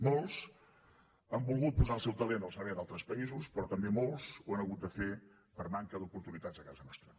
molts han volgut posar el seu talent al servei d’altres països però també molts ho han hagut de fer per manca d’oportunitats a casa nostra